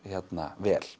vel